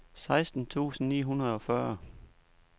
seksten tusind ni hundrede og fyrre